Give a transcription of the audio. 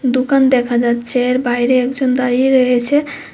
দোকান দেখা যাচ্ছে আর বাইরে একজন দাঁড়িয়ে রয়েছে।